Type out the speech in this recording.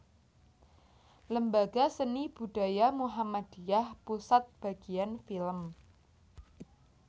Lembaga seni Budaya Muhammadiyah Pusat Bagian Film